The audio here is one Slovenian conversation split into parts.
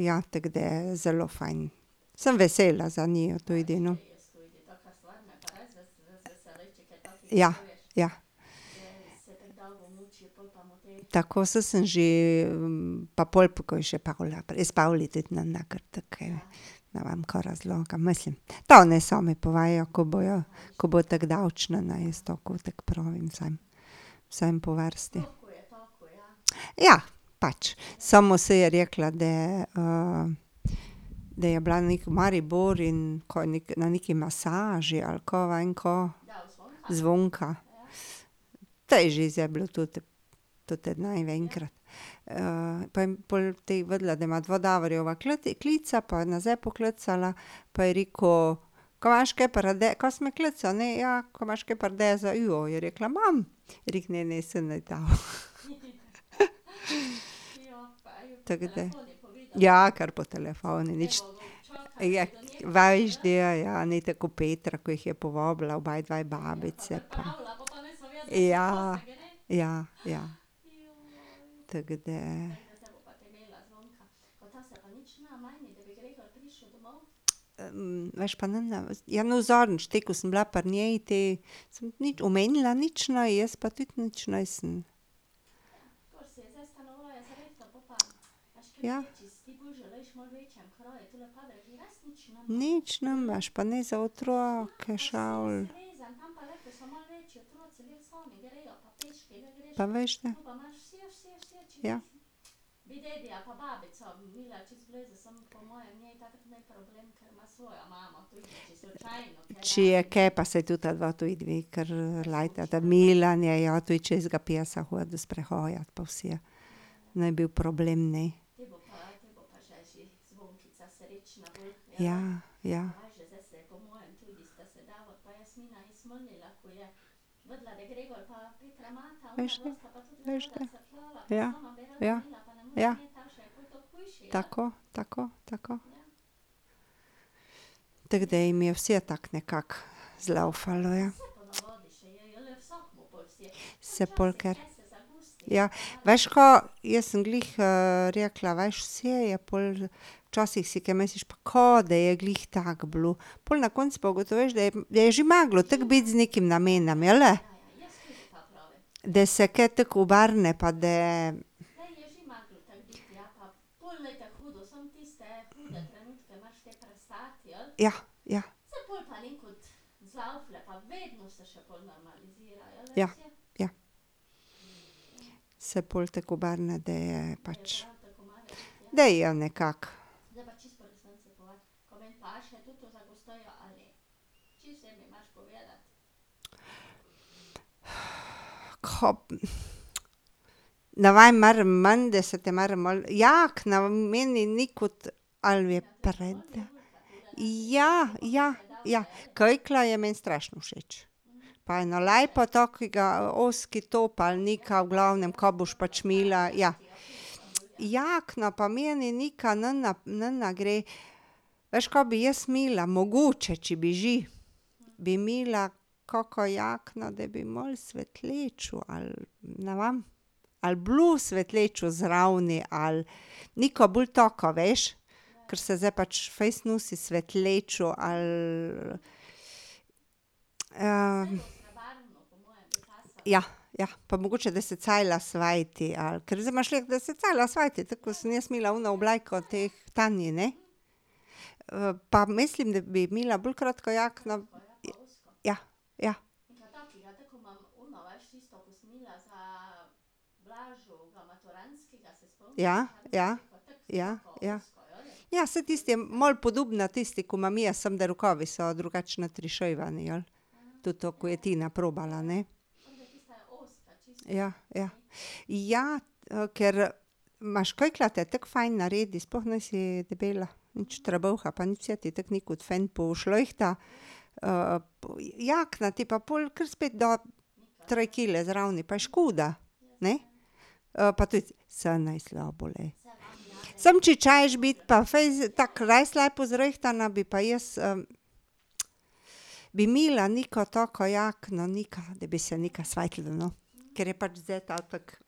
ja, tako da, zelo fajn. Sem vesela za njiju, tu edino. Ja, ja. Tako, saj sem že, pa pol, ko je še Pavla ne vem kaj razlaga, mislim, ta naj sami povejo, ko bojo, ko bo tako daleč, ne, ne, jaz tako tako pravim vsem, vsem po vrsti. Ja, pač, samo saj je rekla, da da je bila nekje v Mariboru in kaj, na neki masaži ali kaj vem kaj. Zvonka. Saj že zdaj bilo tudi ... pa je pol tej vedela, da ima dva Davorjeva klica pa je nazaj poklicala pa je rekel: "Kaj imaš kaj kaj si me klicala, ne ja, ko imaš kaj paradajza?" "Ja," je rekla, "imam." Je rekel: "Ne, ne, saj ne." Tako da. Ja, kar po telefonu, nič ... Ja, veš da je, ja, ni tako kot Petra, kot jih je povabila obedve babici pa ... Ja, ja, ja. Tako da ... veš pa ne, ja no zadnjič, te ko sem bila pri njej te, samo ni omenila nič, ne, jaz pa tudi nič nisem. Ja. Nič nimaš, pa ni za otroke ščavelj. Pa veš da. Ja. Če je kaj, pa saj tudi ta dva, tudi dve tudi kar lajtata, Milan je, ja, tudi če psa hodi sprehajat pa vse. Ni bil problem, ne. Ja, ja. Veš da, veš da. Ja. Ja. Ja. Tako, tako tako. Tako da jim je vse tako nekako zlaufalo, ja. Se pol ker ... Ja, veš ka, jaz sem glih rekla, veš, vse je pol, včasih si kaj misliš, pa ka da je glih tako bilo, pol na koncu pa ugotoviš, da je, da je že moglo tako biti z nekim namenom, jeli? Da se ke tako obrne pa da ... Ja, ja. Ja, ja. Se pol tako obrne, da je pač ... Da je nekako. ka ... Ne vem, moram menda se, menda se te moram malo, ja, ke meni ni kot ali je ... Ja, ja, ja. Kikla je meni strašno všeč. Pa eno lepo takega ozki top ali nekaj v glavnem ka boš pač imela, ja ... Jakna pa meni nekaj ne gre. Veš, ka bi jaz imela, mogoče, če bi že, bi imela kako jakno, da bi malo svetlečo ali na vem. Ali blues svetlečo zraven ali nekaj bolj taka, veš, ker se zdaj pač fejst nosi svetlečo ali ... Ja, ja, pa mogoče, da se cela sveti, ali, ker zdaj imaš, glej, da se cela sveti, tako kot sem jaz imela ono obleko od teh . pa mislim, da bi imela bolj kratko jakno ... Ja, ja. Ja, ja, ja, ja. Ja, saj tisto je malo podobna tisti, ko imam jaz, sem da rokavi so drugač notrišivani, jeli? Tudi to, ko je Tina probala, ne. Ja, ja. Ja, ker imaš kiklo te tako fajn naredi, sploh nisi debela. Nič trebuha pa nič, vse ti tako neko fajn pošlihta. jakna ti pa pol kar spet da tri kile zraven, pa je škoda, ne? pa tudi, saj ni slabo, glej. Samo če češ biti pa fejst, tako res lepo zrihtana, bi pa jaz bi imela neko tako jakno, nekaj, da bi se nekaj svetilo, no, kar je pač ta tako ...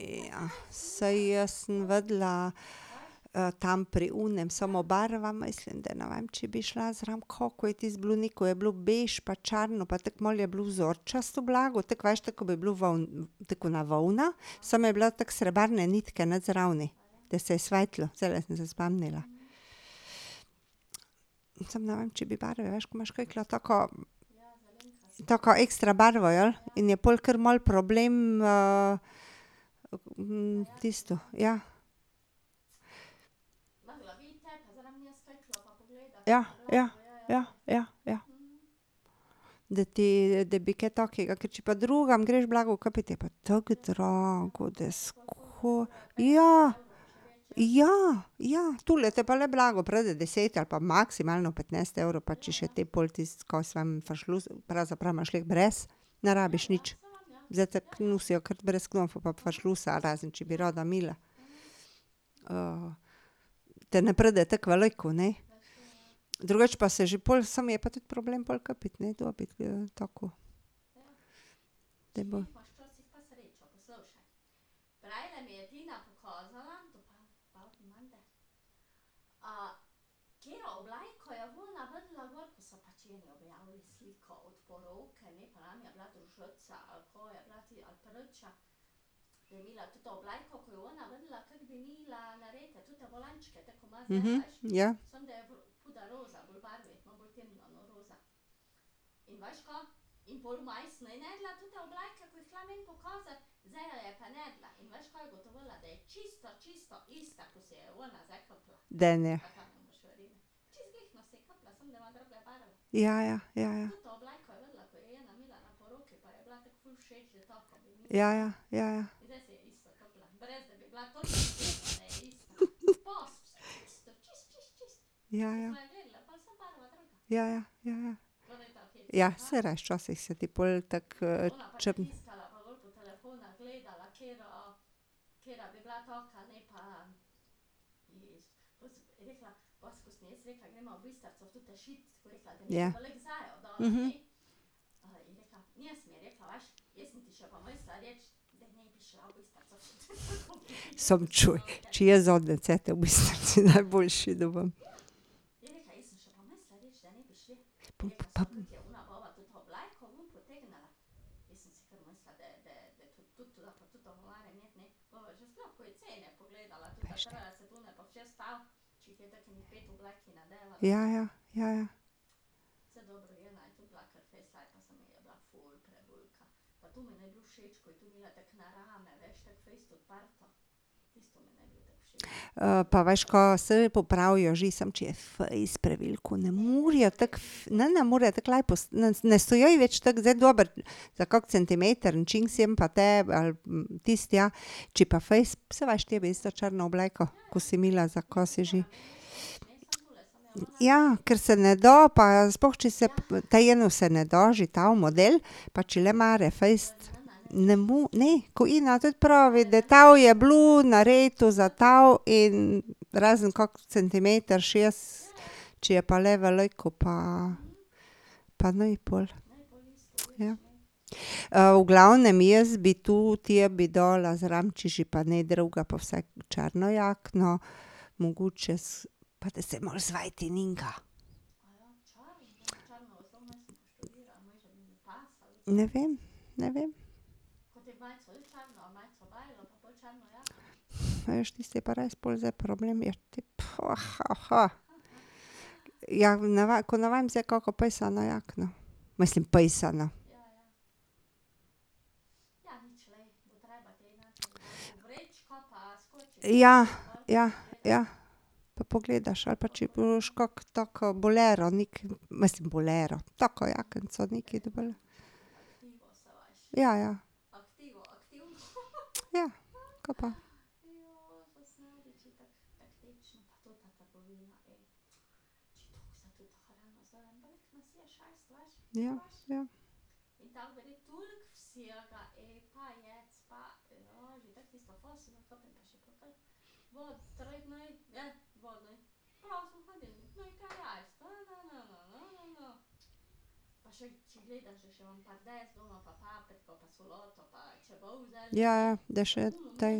ja, saj jaz sem vedela tam pri onem, samo barva mislim, da ne vem če bi šla zraven, kaj, ko je tisto bilo neko je bilo bež pa črno pa tako malo je bilo vzorčasto blago, tako veš, tako kot bi bilo tako kot ena volna. Samo je bila tako srebrne nitke not zraven, da se je svetilo, zdajle sem se spomnila. Samo ne vem, če bi barve, veš, ko imaš kiklo tako ... Taka ekstra barva, jeli? In je pol kar malo problem tisto, ja. Ja, ja ja, ja, ja. Da ti, da bi kaj takega, ker če pa drugam greš blago kupit, je pa tako drago, da ... ja, ja, ja, tule te pa le blago pride deset ali pa maksimalno petnajst evrov, pa če še te pol tisto, kaj jaz vem, fršlus, pravzaprav imaš lahko brez, ne rabiš nič. Zdaj tako nosijo kar brez knofov pa fršlusa, razen če bi rada imela. te ne pride tako veliko, ne. Drugače pa se že pol, samo je pa tudi problem pol kupiti, ne, dobiti tako. ja. Daj nehaj. Ja, ja. Ja, ja. Ja, ja. Ja, ja. Ja, ja. Ja, ja. Ja, ja. Ja, saj res, včasih se ti pol tako ... Ja. Samo čuj, če jaz zadnje cajte v bistvu še najboljši . Ja, ja. Ja, ja. pa veš kaj, saj popravijo že, samo če je fejst preveliko, ne morejo tako ne, ne, ne more tako laj ne stojijo ji več zdaj tako dobro. Za kak centimeter en čink sem pa te ali tisto, ja, če pa fejst, saj veš tebe isto črna obleka, ko si imela, za kaj si že? Ja, ker se ne da pa sploh, če se potem eno se ne da, že ta model pa če le more fejst. Ne ne, ko Ina tudi pravi, da to je bilo narejeno za to in razen kak centimeter čez, če je pa le veliko pa ... pa naj pol. Ja ... v glavnem jaz bi tu tebi dala zraven, če že pa ne drugega, pa vsaj črno jakno, mogoče pa da se malo sveti . Ne vem, ne vem. Veš, tisto je pa res pol zdaj problem, je te pa, Ja, ne vem, ko ne vem zdaj kaka pisana jakna. Mislim pisana ... Ja, ja, ja. Pa pogledaš, ali pa če boš kako taka bolera, neki mislim bolera, tako jaknico, nekaj da bolj ... Ja, ja. Ja, kaj pa. Ja, ja. Ja, ja, da še je tej.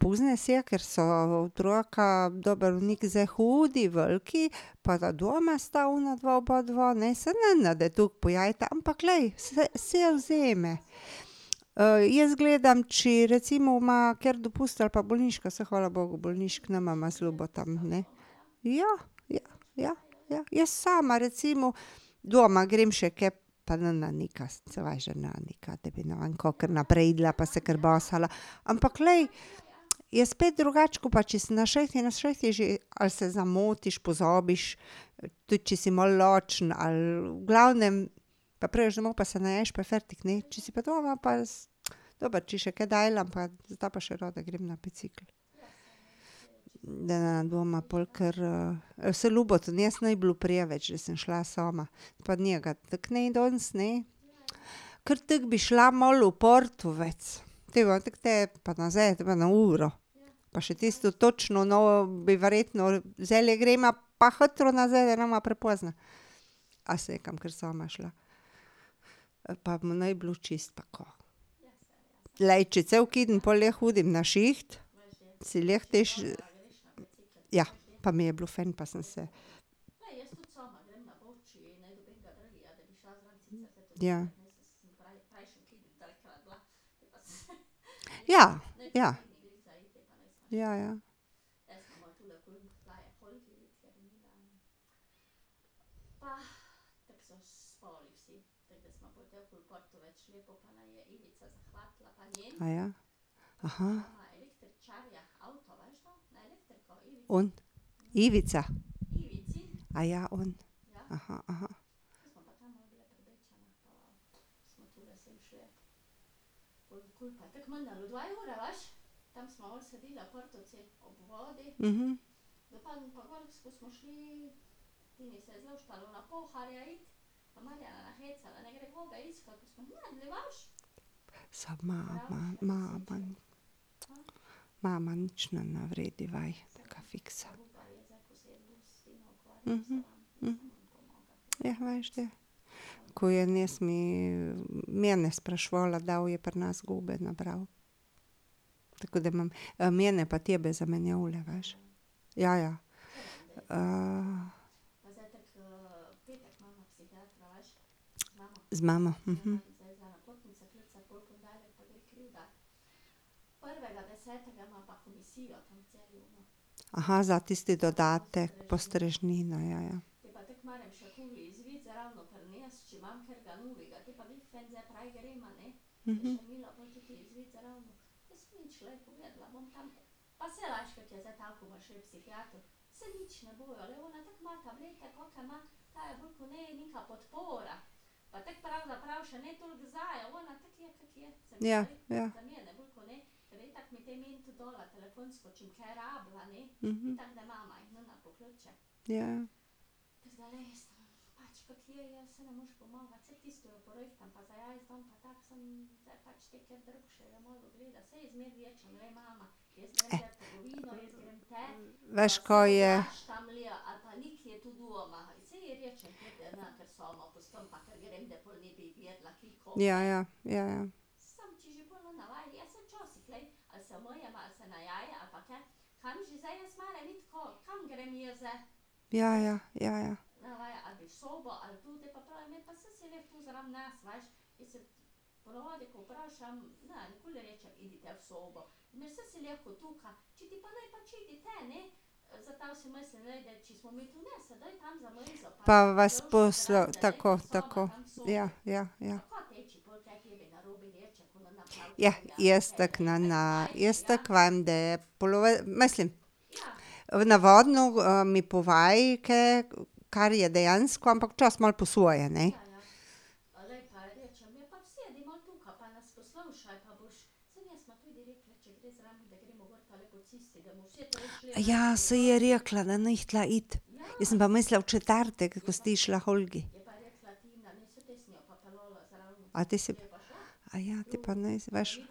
pozna se, ker so otroka, dobro Nik zdaj hodi, veliki, pa da doma sta onadva obadva, ne, saj ne da tako pojejta, ampak glej, saj . jaz gledam, če recimo ima keri dopust ali pa bolniško, saj hvala bogu bolniških nimava z Ljubotom, ne. Ja, ja, ja. Jaz sama recimo doma grem še kaj, pa , saj veš, da nika, da bi kar naprej jedla pa se basala. Ampak glej, je spet drugače, kot pa če si na šihtu, na šihtu že ali se zamotiš, pozabiš, tudi če si malo lačen ali v glavnem, pa prideš domov pa se naješ, pa je fertik, ne, če si pa doma pa ... Dobro, če še kaj delam, pa zdaj pa še rada grem na bicikel. Da ne bova pol kar saj Ljubotu danes ni bilo preveč, saj sem šla sama pa njega tako ni danes, ne. Ker tako bi šla malo v Portovec, potem pa tek potem pa nazaj uro. Pa še tisto točno, no, bi verjetno ... Zdajle greva pa hitro nazaj da, ne bova prepozni. A saj, kaj bom kar sama šla. Pa mu ni bilo čisto tako. Glej, če cel keden pol ne hodim na šiht, si lahko te še ... Ja, pa mi je bilo fajn pa sem se ... Ja. Ja. Ja. Ja, ja. Aja? On? Ivica? Aja, on. Samo ima, ima mama ... mama nič ne naredi . Jah. veš da, ko je ... mene spraševala, kdaj bojo pri nas gobe nabrali. Tako da imam, mene pa tebe zamenjavale, veš. Ja, ja. Z mamo, za tisti dodatek, postrežnina, ja, ja. Ja. Ja. Ja, ja. Veš,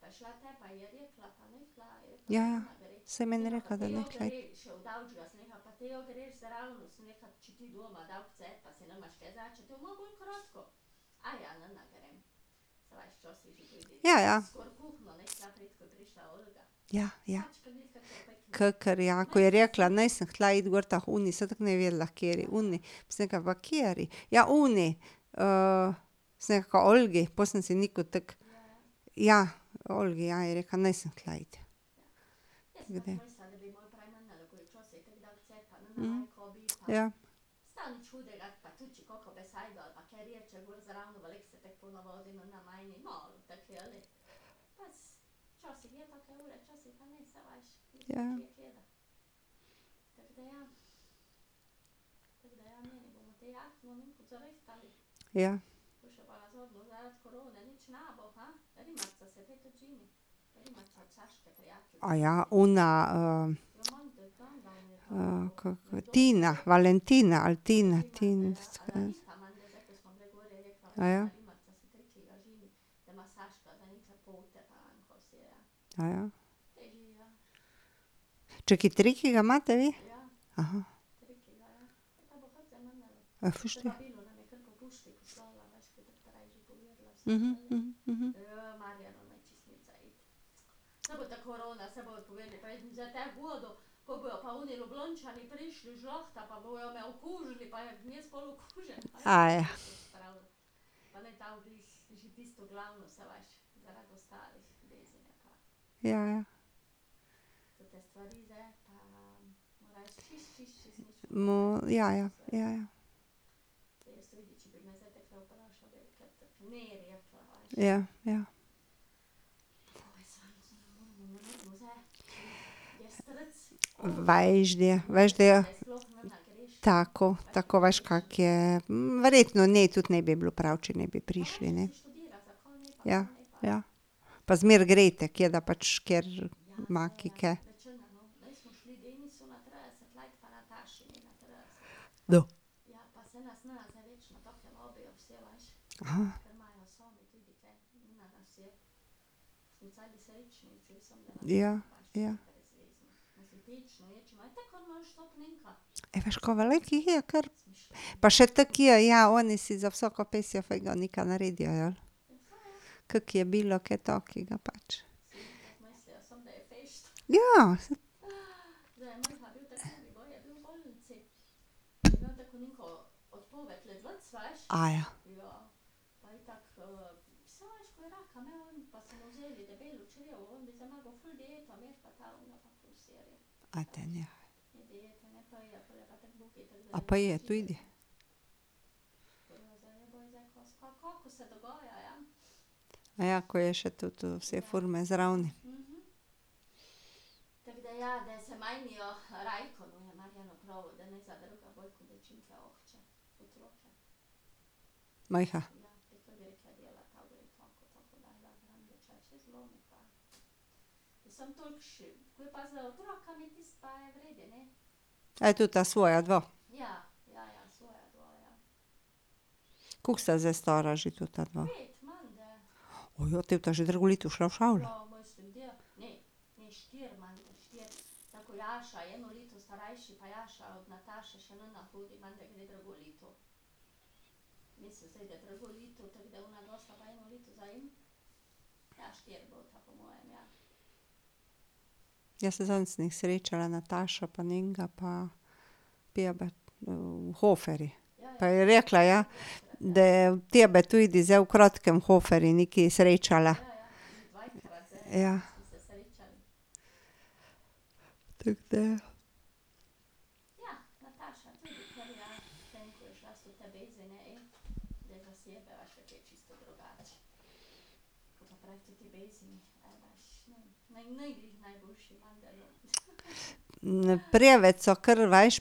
kaj je? Ja, ja. Ja, ja. Ja, ja. Ja, ja. Pa vas tako tako. Ja, ja, ja. Ja, jaz tako ne, jaz tako vem, da mislim ... Navadno mi povej, kaj, kar je dejansko, ampak včasih malo po svoje, ne. saj je rekla, ne jih tule iti. Jaz sem pa mislila v četrtek, ko si ti šla k Olgi. A ti si ti pa nisi, veš. Ja, ja, saj je meni rekla, da ni hotela iti. Ja, ja. Ja, ja. Kakor, ja, ko je rekla: "Nisem hotela iti gor ta h oni." Saj itak ni vedela h kateri, oni, pa sem rekla pa kateri, ja oni. sem rekla: "K Olgi." Pol sem si niko tako. "Ja, Olgi, ja," je rekla, "nisem hotela iti." ja. Ja, ja. Ja. Ona ... kaka ... Tina! Valentina ali Tina, Tina ... Čakaj, triki, ga imate vi? veš da. Ja, ja. ja, ja, ja, ja. Ja, ja. Veš da, veš, da je ... Tako, tako, veš, kako je. Verjetno ne tudi ne bi bilo prav, če ne bi prišli, ne. Ja, ja. Pa zmeraj gre te, ker da pač, ker ma kje kaj. Ja, ja. Ej, veš ka, veliko jih je kar. Pa še tako je, ja oni si za vsako pasjo figo nekaj naredijo, ja. Kako je bilo kaj takega pač. Ja. A daj nehaj. A pa je tudi? Ja, ko je še toto vse forme zraven. Mejha? tota svoja dva? Koliko sta zdaj stara že tota dva? te bosta že drugo leta šla v šolo. Ja, saj zadnjič sem jih srečala, Natašo pa njenega pa poba v Hoferju. Pa je rekla, ja, da tebe tudi zdaj v kratkem v Hoferju nekaj srečala. Ja. Tako da ja. preveč so kar veš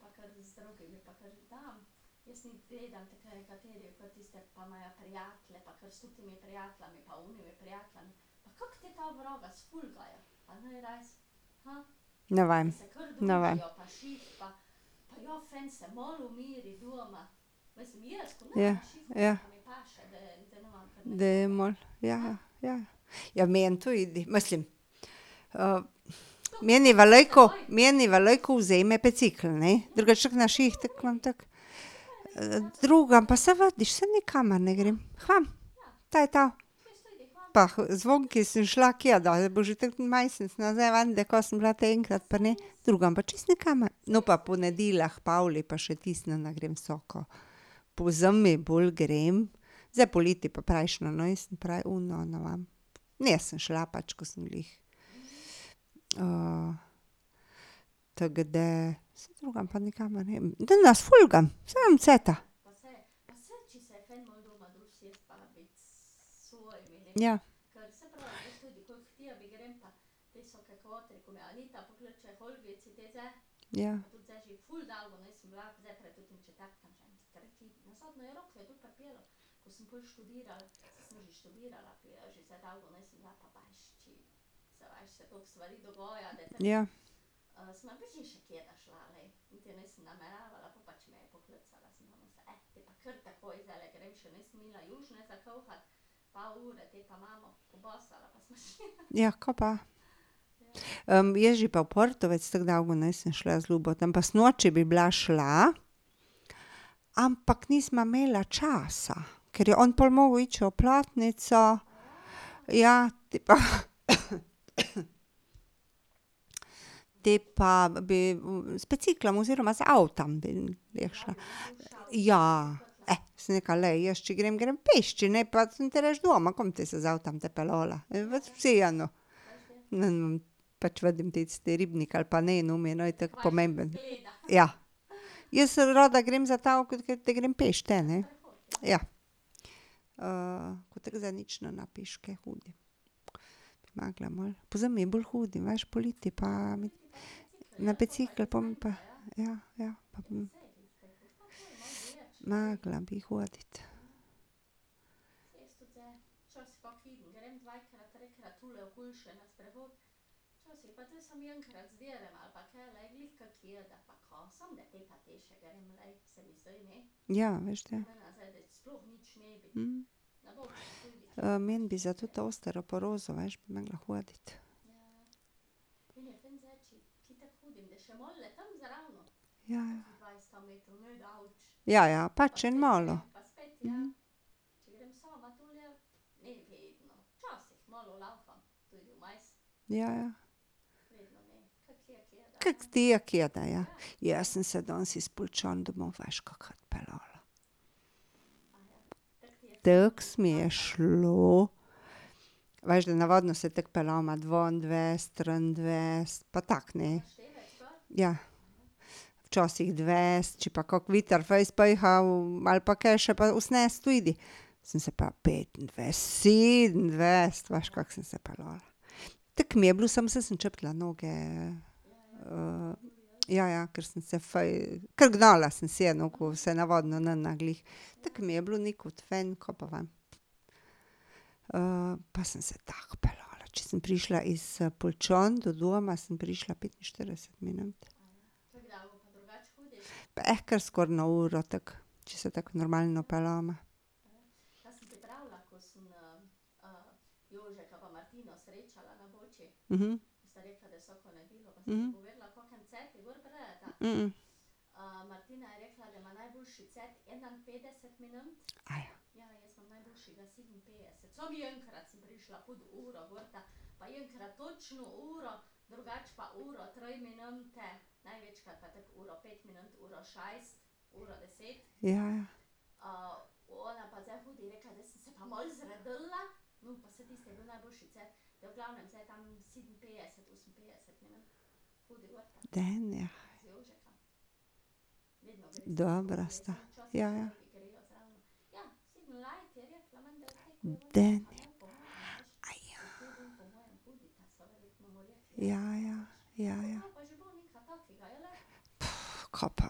pa kar . Vsepovsod leta pa ja. Ja. Ne vem, ne vem. Ja, ja. Da ja, ja, ja. Je meni tudi, mislim, meni veliko, meni veliko vzame bicikel, ne, drugače tako na šiht tako imam tako ... Drugam, pa saj vidiš, saj nikamor ne grem. K vam, to je to. Pa k Zvonki sem šla, kje da, bo že tako en mesec, ne, zdaj vem, da sem bila te enkrat pri njej, drugam pa čisto nikamor. No, pa po nedeljah k Pavli, pa še tisto ne grem vsako. Pozimi bolj grem, zdaj poleti pa prejšnjo nisem, prej ono ne vem. Nisem šla pač, ko sem glih ... Tako da, saj drugam pa nikamor ne grem, da ne sfolgam, saj nimam cajta. Ja. Ja. Ja. Ja, ka pa. jaz že pa v Portovec tako dolgo nisem šla z Ljubotom, pa sinoči bi bila šla, ampak nisva imela časa. Ker je on pol moral iti še v Platnico. Ja, potem pa Potem pa bi z biciklom oziroma z avtom jih šla. Ja, sem rekla: "Glej, jaz če grem, grem peš, če ne pa sem te pa rajši doma, kaj bo potem se z avtom tja peljala, vseeno." . Ja. Jaz rada grem grem peš, ne. Ja. ko tako zdaj nič ne peške hodim. Mogli malo. Pozimi je bolj hodim, veš, poleti pa mi ... na bicikel pol bom pa ... Ja, ja, pa bom. Morala bi hoditi. Ja, veš da. meni bi za toto osteoporozo, veš, bi morala hoditi. Ja, ja. Ja, ja, pač en malo. Ja, ja. Kako ti je kjede, ja. Jaz sem se danes iz Poljčan domov, veš, kakat peljala. Tako se mi je šlo. Veš, da navadno se tako peljemo dvaindvajset, triindvajset pa tako ne. Ja. Včasih dvajset, če pa kak veter fejst piha ali pa kaj še, pa osemnajst tudi. Sem se pa petindvajset, sedemindvajset, veš, kako sem se peljala. Tako mi je bilo, samo sem čutila noge. ja, ja, ker sem se kar gnala sem se, no, ko se navadno ne glih. Tako mi je bilo , kaj pa vem pa sem se tako peljala, če sem prišla iz Poljčan do doma, sem prišla petinštirideset minut. ker skoraj eno uro, tako, če se tako normalno peljem. Ja, ja. Daj nehaj. Dobra sta. Ja, ja. Daj nehaj. Ja, ja. kaj pa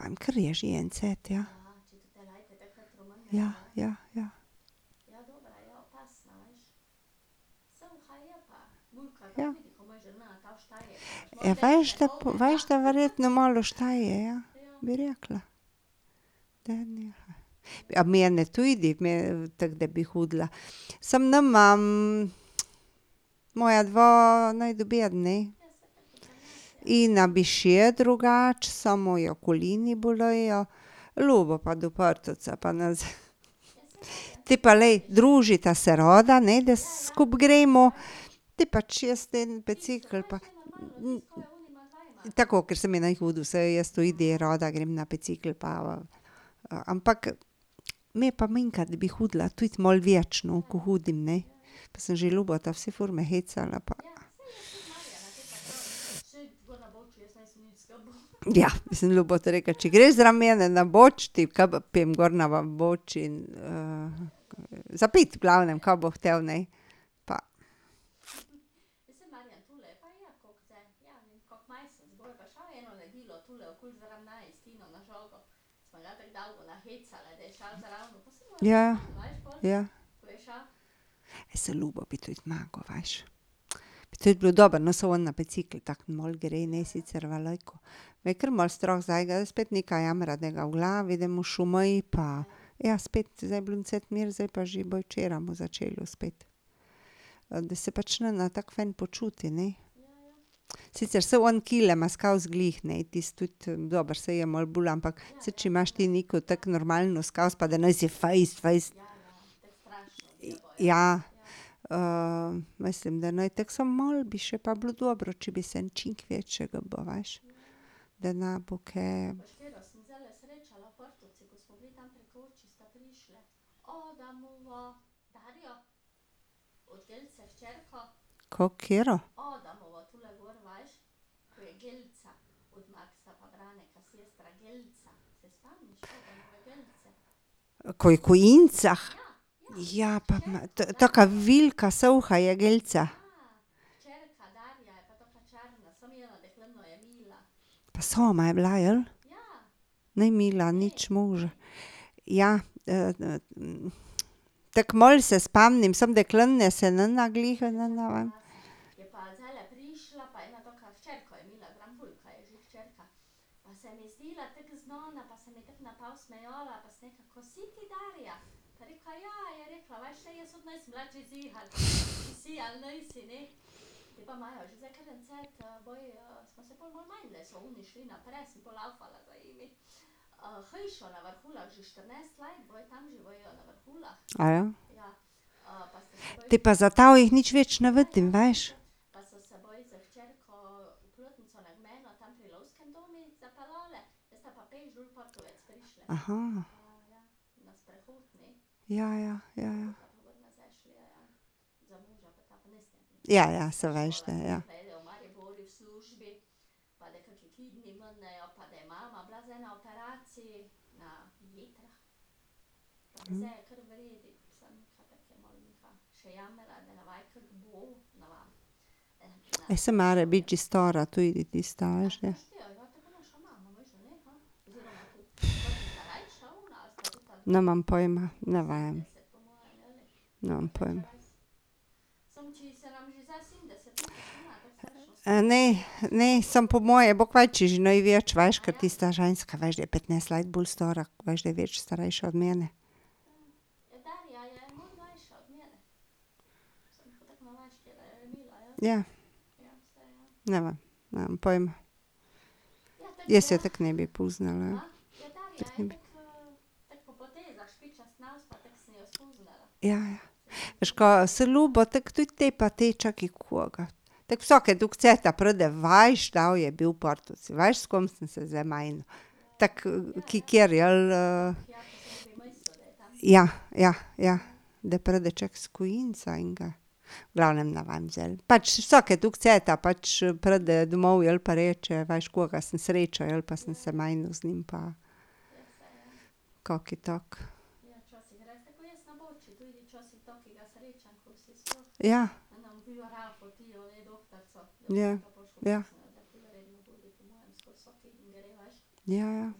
vem, ker je že en cajt, ja. Ja, ja, ja. Ja. Ja veš da, veš da verjetno malo šta je, ja, bi rekla. Daj nehaj. Mene tudi, me, tako da bi hodila, samo nimam, moja dva ne . In bi še drugače, samo jo kolena bolijo, Ljubo pa . Potem pa glej, družita se rada, ne, da skupaj gremo. Potem pa čez teden bicikel pa ... Tako, ker saj mi ni hudo, saj jaz tudi kdaj rada grem na bicikel pa, ampak me pa manjkrat, da bi hodila tudi malo več, no, ko hodim, ne, pa sem že Ljubota vse forme hecala pa ... Ja, jaz sem Ljubotu rekla: "Če greš zraven mene na Boč ." za piti v glavnem, kaj bo hotel, ne. Pa ... Ja, ja. Ja, saj Ljubo bi tudi moral, veš. Bi tudi bilo dobro, no, samo on na bicikel tako malo gre, ne sicer veliko. Me je kar malo strah zanj, zdaj spet nekaj jamra, da ga v glavi, da mu šumi pa ... Ja, spet, zdaj je bilo en cajt mir, zdaj pa že, včeraj mu začelo spet, da se pač ne tako fajn počuti, ne. Sicer saj on kile ima skozi glih, ne, tisti tudi, dobro, saj je malo bolj, ampak saj če imaš ti neko tako normalno skozi pa da nisi fejst fejst ... Ja, mislim, da ni tako, samo malo bi še pa bilo dobro, če bi se en čisto več gibal, veš. Da ne bo kaj ... Kako, katera? Ko je ? Ja, pa bi ... taka velika, suha je Gelca? Pa sama je bila, jeli? Ni imela nič moža. Ja, tako malo se spomnim, samo dekle ne se ne glih, ne vem. Potem pa zato jih nič več ne vidim, veš. Ja, ja, ja, ja. Ja, ja, saj veš da, ja. Ja, saj mora biti že stara tudi tista, veš da. Nimam pojma, ne vem. Nimam pojma. ne, ne, samo po moje bo kmalu, če že ne več, veš, ker tista ženska, veš, da je petnajst let bolj stara, veš, da je več starejša od mene. Ja. Ne vem. Nimam pojma. Jaz je tako ne bi poznala. Ja, ja. Veš kaj, saj Ljubo tako tudi te pa te, čakaj koga ... Te vsake toliko cajta pride, veš, kdo je bil v Partovcih, veš, s kom sem se zdaj menil ... Tako ... Ja, ja, ja. Da pride čakaj s enega ... V glavnem, ne vem zdaj ali, pač vsake toliko cajta pač pride domov, jeli, pa reče: "Veš, koga sem srečal, jeli, pa sem se menil z njim pa ..." Kaki tak. ja. Ja, ja. Ja, ja.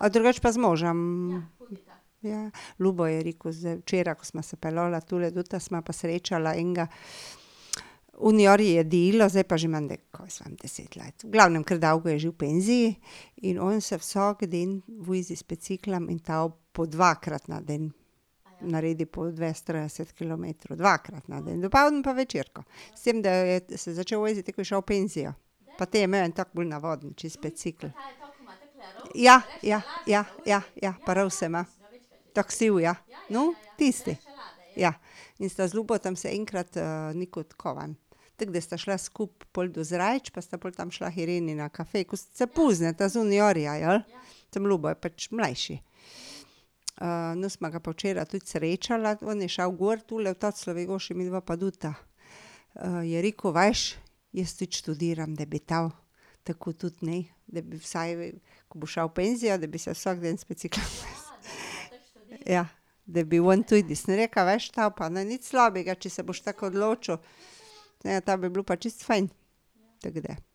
A drugače pa z možem? Ja, Ljubo je rekel včeraj, ko sva se peljala tule dol, srečala enega, zdaj je pa že menda, kaj jaz vem, deset let, v glavnem, ker dolgo je že v penziji. In on se vsak dan vozi z biciklom in to po dvakrat na dan. Naredi po dvajset, trideset kilometrov, dvakrat na dan - dopoldan pa večerko. S tem, da jo, je se začeli voziti, ko je šel v penzijo. Pa te je imel en tak bolj navaden čisto bicikel. Ja, ja, ja, ja, ja pa rouse ima. Tak siv, ja. Tisti. Ja. In sta z Ljubotom se enkrat nekod, kaj vem, tako, da sta šla skupaj pol do Zreč pa sta pol tam šla k Ireni na kafe, ko se poznata z Uniorja, jeli, samo Ljubo je pač mlajši. no, smo ga pa včeraj tudi srečala, on je šel gor tule v , midva pa tudi. Je rekel: "Veš, jaz tudi študiram, da bi to tako tudi, ne, da bi vsaj, ko bo šel v penzijo, da bi se vsak dan z biciklom ..." Ja. "Da bi on tudi," sem rekla, "veš to pa ne bo nič slabega, če se boš tako odločil." Ja, to bi bilo pa čisto fajn. Tako da.